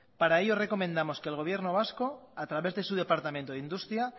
para ello recomendamos que el gobierno vasco a través de su departamento de industria